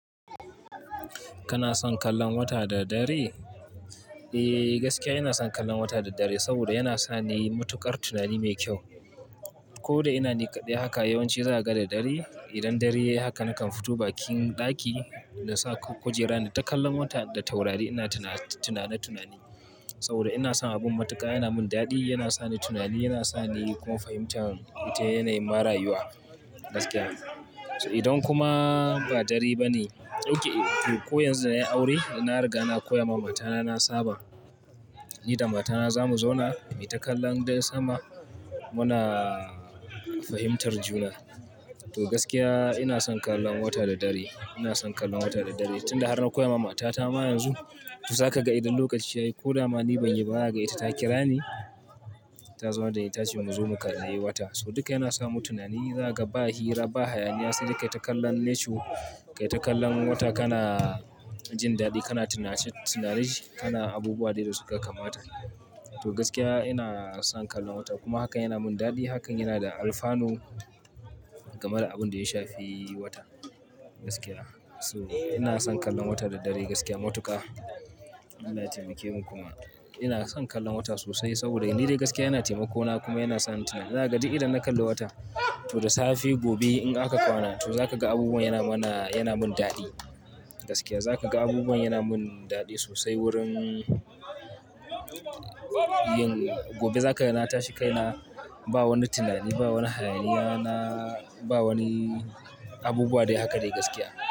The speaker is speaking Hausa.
Kana son kallon wata da dare? Eh, gaskiya ina son kallon wata da dare saboda yana sa ni matukar tunani mai kyau. Ko da ina ni kaɗai haka yawanci zaga da dare. Idan dare yayi haka nakan fito bakin daki na sa kujera na ta kallon wata da taurari ina tunane tunane saboda ina son abun matuƙa yana min daɗi, yana sa ni tunani, yana sa ni kuma fahimtar wata yanayin ma rayuwa gaskiya. Idan kuma ba dare bane, dauki ko yanzu da nayi aure na riga na koya ma matana na saba. Ni da matana zamu zauna, mu yi takallan dai sama muna fahimtar juna. To gaskiya ina son kallon wata da dare. Ina son kallon wata da dare tunda har na koya ma matata ma yanzu. To zaka ga idan lokaci ya yi ko da ma ni ban yi ba zaha ga ita ta kira ni, ta zaunar dani tace mu zo mu kalli wata. So duka yana samu tunani, zaga ba hira ba, hayaniya sai ka yi takallan nature, ka yi takallan wata kana jin daɗi kana tunace tunace kana abubuwa dai da suka kamata. To gaskiya ina son kallon wata kuma hakan yana min daɗi. Hakan yana da alfanu game da abun da ya shafi wata gaskiya. So ina son kallon wata da dare gaskiya matuƙa. Allah ya taimake mu kuma, ina son kallon wata sosai saboda ni dai gaskiya yana taimako na kuma yana sa ni tunani. Zaha ga duk idan na kalli wata to da safe gobe in aka kwana to zaka ga abubuwan yana mana, yana mun daɗi gaskiya. Zaka ga abubuwan yana mun daɗi sosai wurin yin. Gobe zaka ga na tashi kai na ba wani tunani, ba wani hayaniya na ba wani abubuwa dai haka dai gaskiya.